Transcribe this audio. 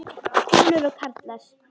Konur og karlar.